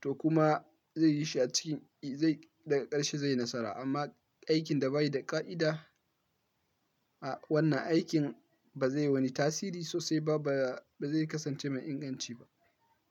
to kuma zai yi shi a ciki. Daga ƙarshe zai yi nasara amma aikin da ba yi da ƙa'ida, a wannan aikin ba zai wani tasiri sosai ba, ba zai kasance mai inganci ba.